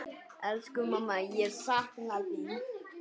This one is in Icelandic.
Elsku mamma, ég sakna þín.